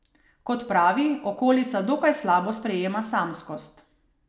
Kot pravi, okolica dokaj slabo sprejema samskost.